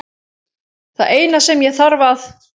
Það eina sem ég þarf að